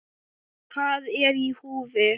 Hvað er í húfi?